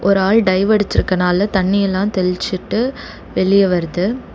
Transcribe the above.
ஒரு ஆள் டைவ் அடுச்சிருக்கனால தண்ணியெல்லா தெள்ச்சுட்டு வெளிய வருது.